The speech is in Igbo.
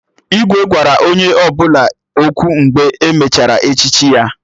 Igwe gwara onye ọbụla okwu mgbe e mechara echichi ya